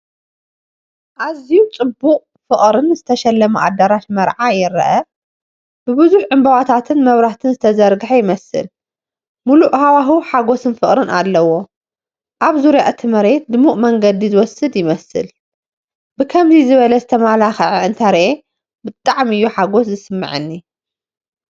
ኣዝዩ ጽቡቕን ፍቑርን ዝተሸለመ ኣዳራሽ መርዓ ይረአ። ብብዙሕ ዕምባባታትን መብራህትን ዝተዘርግሐ ይመስል፣ ምሉእ ሃዋህው ሓጎስን ፍቕርን ኣለዎ። ኣብ ዙርያ እቲ መሬት ድሙቕ መንገዲ ዝወስድ ይመስል፣ ብከምዚ ዝበለ ዝተመላኸዐ እንተሪኤ ብጣዕሚ እዩ ሓጎስ ዝስምዓኒ።